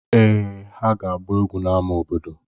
Èè, ha ga-agba egwu n'ámá obodo.